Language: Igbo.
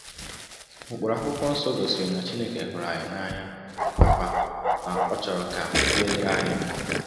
Ụkpụrụ akwụkwọ nsọ gosiri na Chineke hụrụ anyị n’anya nakwa na ọ chọrọ ka um ihe dịrị anyị mma. ”